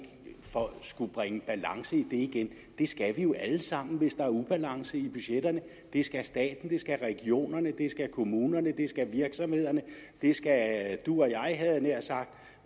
skal bringe balance i det igen det skal vi jo alle sammen hvis der er ubalance i budgetterne det skal staten det skal regionerne det skal kommunerne det skal virksomhederne det skal du og jeg havde jeg nær sagt